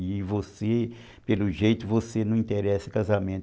E você, pelo jeito, você não se interessa em casamento.